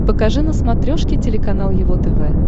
покажи на смотрешке телеканал его тв